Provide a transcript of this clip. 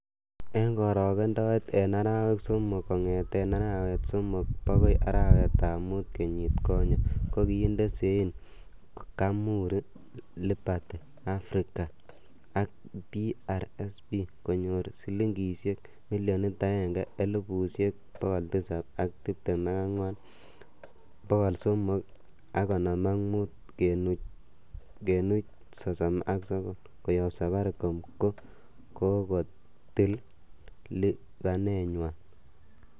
En korogendoet, en arawek somok kongeten arawetab somok bogoi arawetab mut kenyit konye, ko kinde sein Kamuri, Liberty Afrika ak PRSP konyor silingisiek 1,724,355.39 Koyob Safaricom ko kakotil lipanenywan.